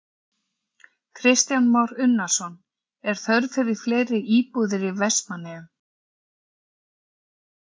Kristján Már Unnarsson: Er þörf fyrir fleiri íbúðir í Vestmannaeyjum?